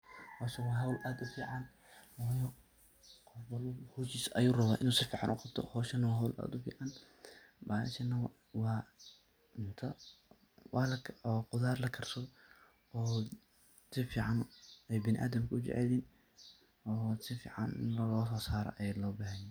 Howshan waa howl aad u fican, waayo qof walbo howshisa ayu rabaa inu howshisa si fican u qabto. Howshana waa howl aad u fican bahashana waa cunto waa khudaar la karsado oo si fican ay biniadamka ay u jecelyihin oo si fican ini lo so saro ayaa loo bahan yahay.